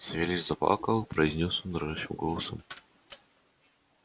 савельич заплакал произнёс он дрожащим голосом